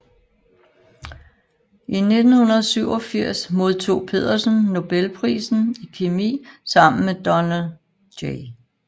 I 1987 modtog Pedersen nobelprisen i kemi sammen med Donald J